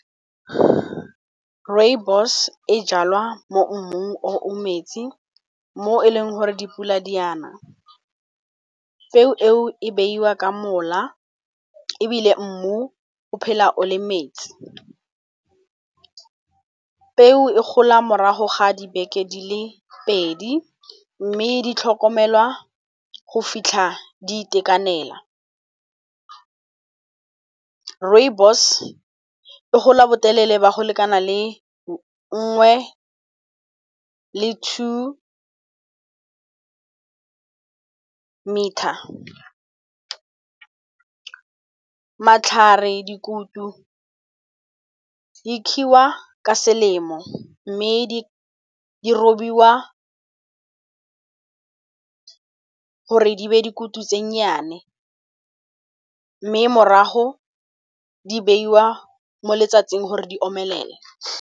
Rooibos e jalwa mo mmung oo metsi, mo e leng gore dipula di ana, peo eo e beiwa ka mola, ebile mmu o phela o le metsi. Peo e gola morago ga dibeke di le pedi, mme di tlhokomelwa go fitlha di itekanela. Rooibos e gola botelele ba go lekana le nngwe le two metre. Matlhare, dikutu di kgiwa ka selemo, mme di robiwa gore di be dikutu tse nnyane, mme morago di beiwa mo letsatsing gore di omelele.